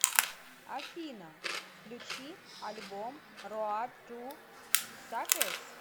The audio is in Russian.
афина включи альбом роад ту сакес